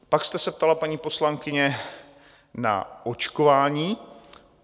Pak jste se ptala, paní poslankyně, na očkování.